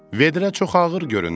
Vedrə çox ağır görünür.